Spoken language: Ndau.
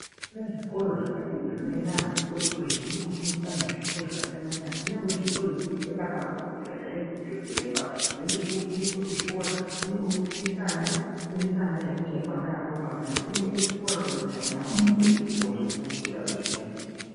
Kune zvikora zvakati kuti zvinoenda vantu vati kure kure zvinoenda kofundisa zvakasiyana siyana kunyangwe zvipo zvekuita madhokothera chaiwo kana chiremba. Zvinoita zvekufundiswa kuzvikora kunyangwe kufundisa ana chaiko chaiko ana adoko anaa kunoendwa kuchikora kuti muntu afundiswe zvona izvozvi kuti muntu azozvishandisa.